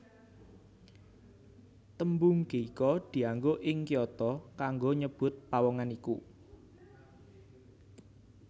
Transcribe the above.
Tembung geiko dianggo ing Kyoto kanggo nyebut pawongan iku